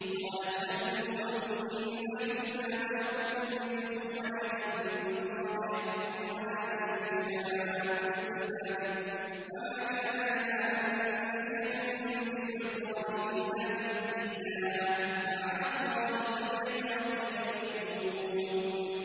قَالَتْ لَهُمْ رُسُلُهُمْ إِن نَّحْنُ إِلَّا بَشَرٌ مِّثْلُكُمْ وَلَٰكِنَّ اللَّهَ يَمُنُّ عَلَىٰ مَن يَشَاءُ مِنْ عِبَادِهِ ۖ وَمَا كَانَ لَنَا أَن نَّأْتِيَكُم بِسُلْطَانٍ إِلَّا بِإِذْنِ اللَّهِ ۚ وَعَلَى اللَّهِ فَلْيَتَوَكَّلِ الْمُؤْمِنُونَ